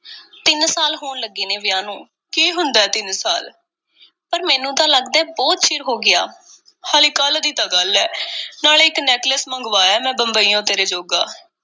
ਤਿੰਨ ਸਾਲ ਹੋਣ ਲੱਗੇ ਨੇ, ਵਿਆਹ ਨੂੰ, ਕੀ ਹੁੰਦਾ, ਤਿੰਨ ਸਾਲ? ਪਰ ਮੈਨੂੰ ਤਾਂ ਲੱਗਦਾ ਏ, ਬਹੁਤ ਚਿਰ ਹੋ ਗਿਆ, ਹਾਲੀ ਕੱਲ੍ਹ ਦੀ ਤਾਂ ਗੱਲ ਏ, ਨਾਲੇ ਇੱਕ necklace ਮੰਗਵਾਇਆ ਏ ਮੈਂ ਬੰਬਈਓਂ, ਤੇਰੇ ਜੋਗਾ,